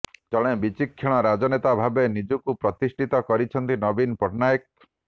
ଜଣେ ବିଚକ୍ଷଣ ରାଜନେତା ଭାବରେ ନିଜକୁ ପ୍ରତିଷ୍ଠିତ କରିଛନ୍ତି ନବୀନ ପଟ୍ଟନାୟକ